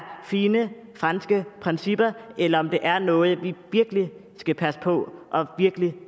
fine franske principper eller om det er noget vi virkelig skal passe på og virkelig